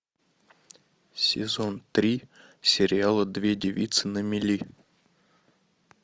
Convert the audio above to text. сезон три сериала две девицы на мели